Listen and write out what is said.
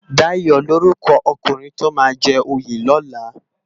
Dayo lórúkò ókúnrin tó má jè óyé lòlá